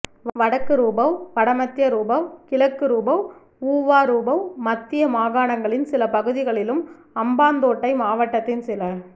வடக்குரூபவ் வடமத்தியரூபவ் கிழக்குரூபவ் ஊவாரூபவ் மத்திய மாகாணங்களின் சில பகுதிகளிலும் அம்பாந்தோட்டை மாவட்டத்தின் சில